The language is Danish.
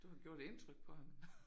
Du har gjort indtryk på ham